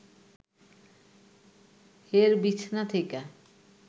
হের বিছনা থেইকা